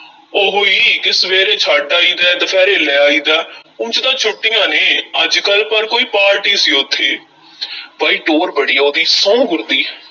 ਉਹੋ ਈ ਕਿ ਸਵੇਰੇ ਛੱਡ ਆਈਦਾ ਹੈ, ਦੁਪਹਿਰੇ ਲੈ ਕੇ ਆਈਦਾ ਉਂਜ ਤਾਂ ਛੁੱਟੀਆਂ ਨੇ ਅੱਜ-ਕੱਲ੍ਹ ਪਰ ਕੋਈ ਪਾਰਟੀ ਸੀ ਉੱਥੇ ਬਈ ਟਹੁਰ ਬੜੀ ਐ ਉਹਦੀ, ਸੌਂਹ ਗੁਰ ਦੀ।